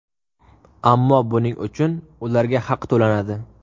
Ammo buning uchun ularga haq to‘lanadi.